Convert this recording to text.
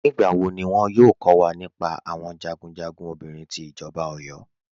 Nígbàwọ́ ní wọ́n yóò kọ̀ wà nípá àwọn jagunjagun obìnrin tí ìjọba Ọ̀yọ́?